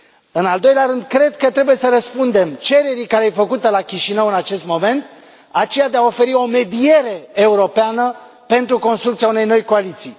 În al doilea rând cred că trebuie să răspundem cererii făcute la Chișinău în acest moment, aceea de a oferi o mediere europeană pentru construcția unei noi coaliții.